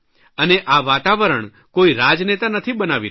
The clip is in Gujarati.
અને આ વાતાવરણ કોઇ રાજનેતા નથી બનાવી રહ્યા